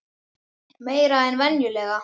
Meira en venjulega?